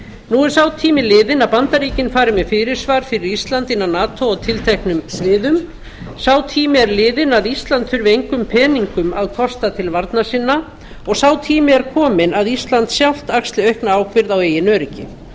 nú er sá tími liðinn að bandaríkin fari með fyrirsvar fyrir ísland innan nato á tilteknum sviðum sá tími er liðinn að ísland þurfi engum peningum að kosta til varna sinna og sá tími er kominn að ísland sjálft axli aukna ábyrgð á eigin öryggi